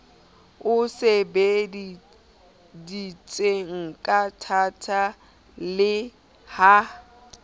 e sebeleditsweng kathata le ha